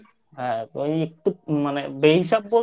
হ্যাঁ ওই একটু মানে বেহিসাব